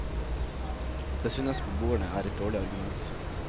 Det synes beboerne er et dårlig argument.